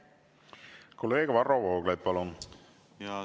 Kolleeg Varro Vooglaid, palun!